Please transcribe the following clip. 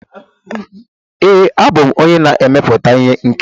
Ee, abụ m onye na-emepụta ihe nkiri.